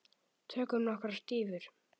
Tökum nokkrar dýfur!